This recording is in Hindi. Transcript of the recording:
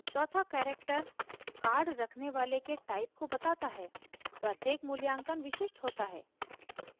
चौथा character card रखने वाले के type को बताता है प्रत्येक मूल्यांकन विशिष्ट होता है